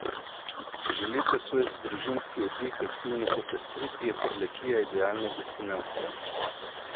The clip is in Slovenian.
Če želite svoj družinski oddih aktivno popestriti, je Prlekija idealna destinacija.